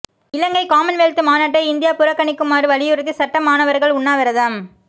இலங்கை Commonwealth மாநாட்டை India புறக்கணிக்குமாறு வலியுறுத்தி சட்ட மாணவர்கள் உண்ணாவிரதம்